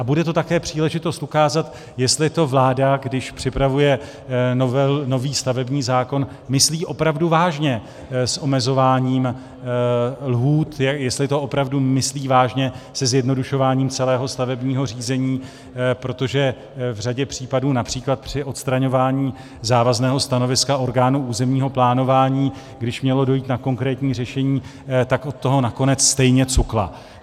A bude to také příležitost ukázat, jestli to vláda, když připravuje nový stavební zákon, myslí opravdu vážně s omezováním lhůt, jestli to opravdu myslí vážně se zjednodušováním celého stavebního řízení, protože v řadě případů, například při odstraňování závazného stanoviska orgánů územního plánování, když mělo dojít na konkrétní řešení, tak od toho nakonec stejně cukla.